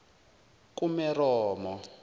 kumeromo